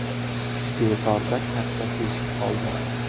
Devorda katta teshik qoldi.